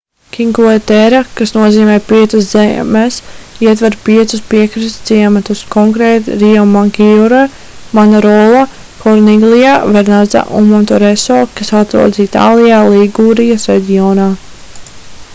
cinque terre kas nozīmē piecas zemes ietver piecus piekrastes ciematus konkrēti riomaggiore manarola corniglia vernazza un monterosso kas atrodas itālijā ligūrijas reģionā